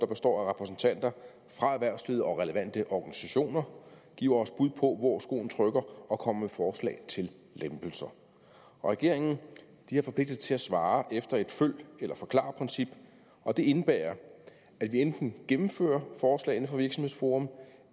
består af repræsentanter fra erhvervslivet og relevante organisationer giver os bud på hvor skoen trykker og kommer med forslag til lempelser regeringen har forpligtet sig til at svare efter et følg eller forklar princip og det indebærer at vi enten gennemfører forslagene fra virksomhedsforum